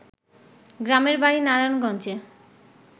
গ্রামের বাড়ি নারায়ণগঞ্জে